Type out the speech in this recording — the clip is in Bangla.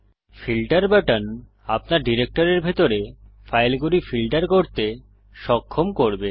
ফিল্টার বাটন আপনার ডিরেক্টরির ভিতরে ফাইলগুলি ফিল্টার করতে সক্ষম করবে